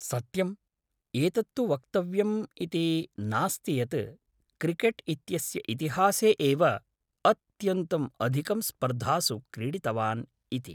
सत्यम्, एतत्तु वक्यव्यम् इति नास्ति यत्, क्रिकेट् इत्यस्य इतिहासे एव अत्यन्तं अधिकं स्पर्धासु क्रीडितवान् इति।